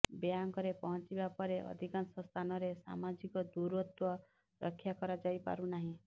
ବ୍ୟାଙ୍କରେ ପହଞ୍ଚିବାପରେ ଅଧିକାଂଶ ସ୍ଥାନରେ ସାମାଜିକ ଦୂରତ୍ୱ ରକ୍ଷା କରାଯାଇ ପାରୁନାହିଁ